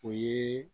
O ye